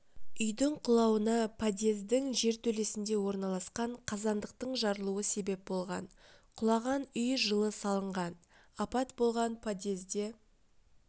үйдің құлауына подъездің жертөлесінде орналасқан қазандықтың жарылуы себеп болған құлаған үй жылы салынған апат болған подъезде